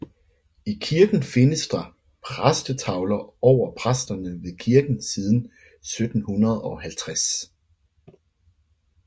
I kirken findes der præstetavler over præsterne ved kirken siden 1750